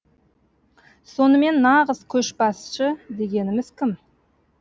сонымен нағыз көшбасы дегеніміз кім